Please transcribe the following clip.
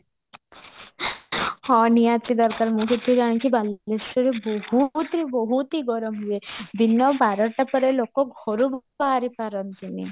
ହଁ ନିହାତି ଦରକାର ମୁଁ ଯେତିକି ଜାଣିଚି ବାଲେଶ୍ଵରରେ ବହୁତହି ବହୁତହି ଗରମ ହୁଏ ଦିନ ବାରଟା ପରେ ଲୋକ ଘରୁ ବି ବାହାରି ପାରନ୍ତିନି